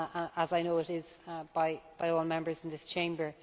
as I know it is by all Members in this Chamber.